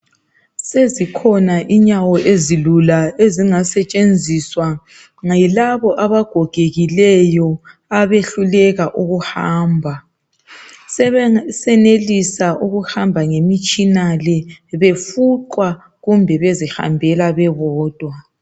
Sezikhona inyawo ezilula ezingasetshenziswa yilabo abagogekileyo abehluleka ukuhamba. Sebesenelisa ukuhamba ngemitshina le befuqwa kumbe bezihambela bebodwa.